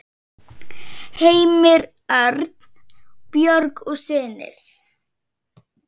Heimir Örn, Björg og synir.